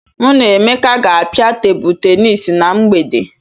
Mụ na Emeka ga-apịa Tebụl tenis na mgbede.